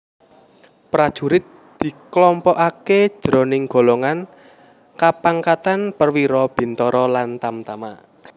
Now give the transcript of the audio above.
Prajurit diklompokaké jroning golongan kapangkatan perwira bintara lan tamtama